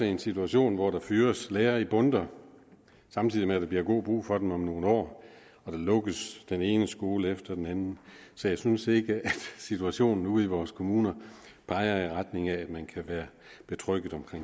i en situation hvor der fyres lærere i bundter samtidig med at der bliver god brug for dem om nogle år og der lukkes den ene skole efter den anden så jeg synes ikke at situationen ude i vores kommuner peger i retning af at man kan være tryg